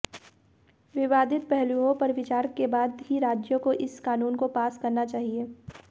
विवादित पहलुओं पर विचार के बाद ही राज्यों को इस कानून को पास करना चाहिए